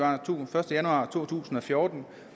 januar to tusind og fjorten